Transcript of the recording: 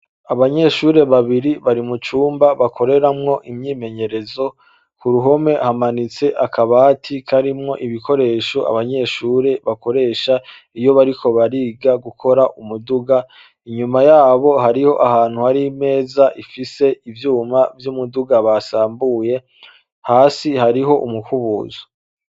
Abanyeshure babiri bari mu cumba bakoreramwo imyimenyerezo. Ku ruhome hamanitse akabati karimwo ibikoresho abanyeshure bakoresha iyo bariko bariga gukora umuduga, inyuma yabo hariyo ahantu hari imeza ifise ivyuma vy'umuduga basambuye. Hasi hariho umukubuzo.